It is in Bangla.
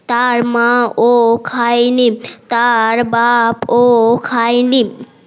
তার মা ও খায় নি তার বাপ ও খায় নি